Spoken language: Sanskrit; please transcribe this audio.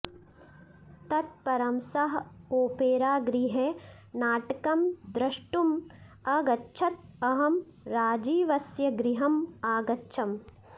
तत् परं सः ओपेरागृहे नाटकं द्रष्टुम् अगच्छत् अहं राजीवस्य गृहम् अगच्छम्